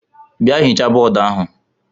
Bịa hichaa bọọdụ ahụ!